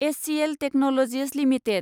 HCl technologies limited